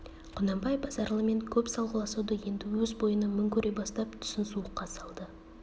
құнанбай базаралымен көп салғыласуды енді өз бойына мін көре бастап түсін суыққа салды